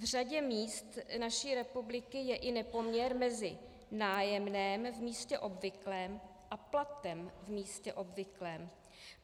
V řadě míst naší republiky je i nepoměr mezi nájemným v místě obvyklým a platem v místě obvyklým.